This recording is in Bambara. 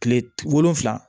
Kile wolonfila